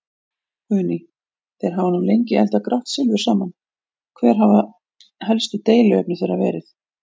Guðný: Þeir hafa nú lengi eldað grátt silfur saman, hver hafa helstu deiluefni þeirra verið?